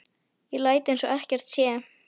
Ég læt eins og ekkert sé.